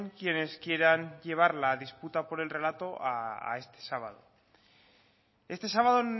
quienes quieran llevar la disputa por el relato a este sábado este sábado